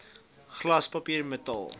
glas papier metaal